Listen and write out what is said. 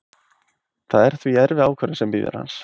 Það er því erfið ákvörðun sem bíður hans.